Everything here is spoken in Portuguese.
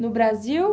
No Brasil?